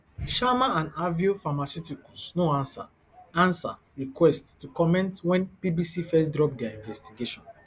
sharma and aveo pharmaceuticals no ansa ansa request to comment wen bbc first drop dia investigation